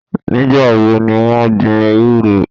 Nígbà wo ni wọ́n gbin ewúro?